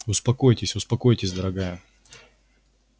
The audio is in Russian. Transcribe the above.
успокойтесь успокойтесь дорогая